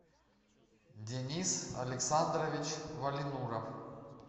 денис александрович валинуров